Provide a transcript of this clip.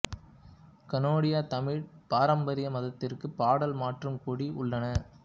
கனேடிய தமிழ் பாரம்பரிய மாதத்திற்கு பாடல் மற்றும் கொடி உள்ளன